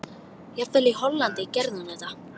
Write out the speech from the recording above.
Jafnvel í Hollandi gerði hún þetta.